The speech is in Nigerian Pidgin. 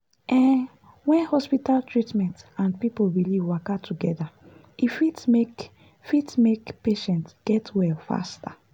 ehn when hospital treatment and people belief waka together e fit make fit make patient get well faster.